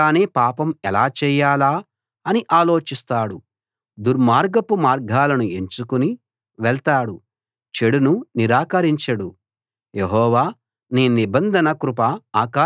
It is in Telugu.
వాడు మంచం దిగకుండానే పాపం ఎలా చేయాలా అని ఆలోచిస్తాడు దుర్మార్గపు మార్గాలను ఎంచుకుని వెళ్తాడు చెడును నిరాకరించడు